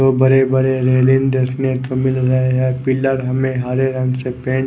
बड़े बड़े रेलिंग देखने को मिल रहे है पिलर हमे हरे रंग से पेंट --